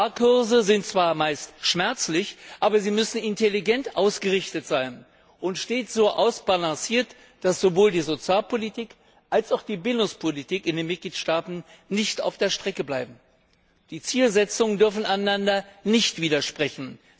Sparkurse sind zwar meist schmerzlich, aber sie müssen intelligent ausgerichtet sein und stets so ausbalanciert, dass sowohl die Sozialpolitik als auch die Bildungspolitik in den Mitgliedstaaten nicht auf der Strecke bleiben. Die Zielsetzungen dürfen einander nicht widersprechen.